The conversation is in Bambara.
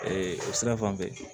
o sira fan fɛ